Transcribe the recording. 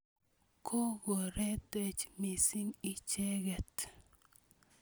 Kokotoretech missing' icheket.